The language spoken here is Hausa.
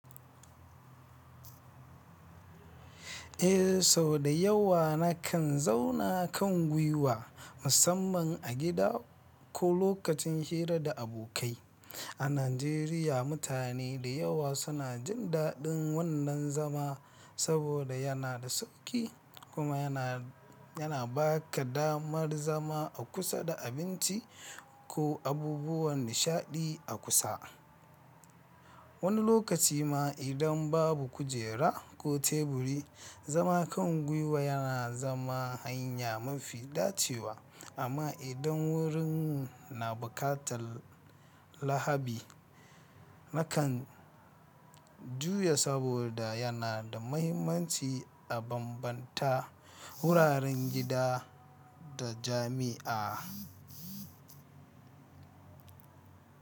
Eh sau da yawa na kan zauna kan gwiwa musamman a gida ko lokacin hira da abokai. A Najeriya mutane da yawa suna jin daɗin wannan zama saboda yana da sauƙi kuma yana, yana ba ka damar zama a kusa da abinci ko abubuwan nishaɗi a kusa. Wani lokaci ma idan babu kujera ko teburi, zama kan guiwa yana zama hanya mafi dacewa. Amma idan wurin na buƙatar lahabi, na kan juya saboda yana da mahimmanci a bambanta wuraren gida da jami'a.